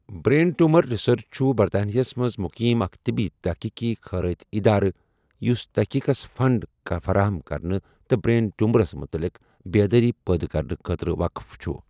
Brain tumour research چھُ برطانیہس منٛز مقیم اکھ طبی تحقیقی خیرٲتی ادارٕ یُس تحقیقس فنڈ فراہم کرنہٕ تہٕ برین ٹیومرس متعلق بیدٲری پٲدٕ کرنہٕ خٲطرٕ وقف چھُ۔